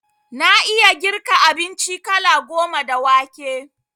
Na iya girka abinci kala goma da wake